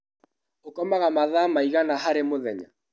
ũkomaga mathaa maigama harĩ mũthenya?